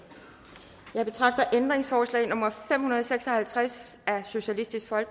jeg betragter ændringsforslag nummer fem hundrede og seks og halvtreds